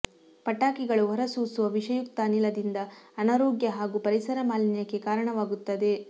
ಪಟಾಕಿಗಳು ಹೊರಸೂಸುವ ವಿಷಯುಕ್ತ ಅನಿಲದಿಂದ ಅನಾರೋಗ್ಯ ಹಾಗೂ ಪರಿಸರ ಮಾಲಿನ್ಯಕ್ಕೆ ಕಾರಣವಾಗುತ್ತದೆ